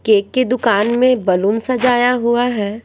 Cake की दुकान में बैलून सजाया हुआ है।